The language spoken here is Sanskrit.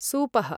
सूपः